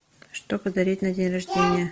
что подарить на день рождения